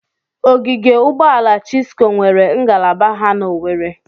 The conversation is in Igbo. Ogige Ụgbọala Chisco nweere ngalaba ha n'Owere.